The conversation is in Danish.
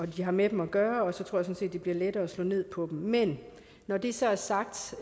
de har med dem at gøre og så sådan set det bliver lettere at slå ned på dem men når det så er sagt